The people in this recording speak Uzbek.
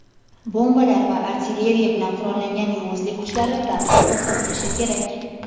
bombalar va artilleriya bilan qurollangan yovuzlik kuchlari darhol to‘xtatilishi kerak.